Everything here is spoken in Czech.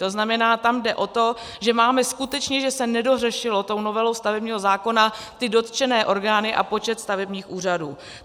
To znamená, tam jde o to, že máme skutečně - že se nedořešily tou novelou stavebního zákona ty dotčené orgány a počet stavebních úřadů.